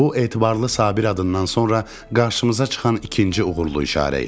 Bu etibarlı Sabir adından sonra qarşımıza çıxan ikinci uğurlu işarə idi.